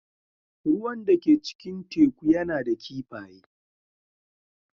Ruwan da ke cikin teku yana da kifaye.